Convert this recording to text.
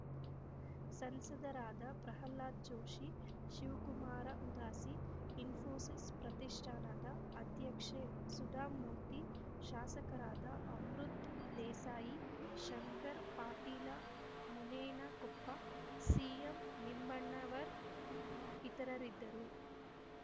ಸಂಸದರಾದ ಪ್ರಹ್ಲಾದ ಜೋಶಿ ಶಿವಕುಮಾರ ಉದಾಸಿ ಇಸ್ಫೋಸಿಸ್‌ ಪ್ರತಿಷ್ಠಾನದ ಅಧ್ಯಕ್ಷೆ ಸುಧಾಮೂರ್ತಿ ಶಾಸಕರಾದ ಅಮೃತ್‌ ದೇಸಾಯಿ ಶಂಕರ್ ಪಾಟೀಲ ಮುನೇನಕೊಪ್ಪ ಸಿಎಂ ನಿಂಬಣ್ಣವರ್ ಇತರರಿದ್ದರು